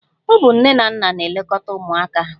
Ọ bụ nne na nna na-elekọta ụmụaka ahụ.